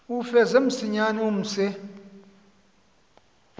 uwufeze msinyane umse